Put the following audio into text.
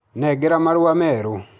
Nengera marua meru.